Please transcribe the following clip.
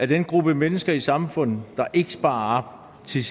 den gruppe mennesker i samfundet der ikke sparer op til